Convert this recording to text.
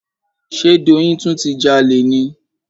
Ṣe Doyin tún ti jalè ni?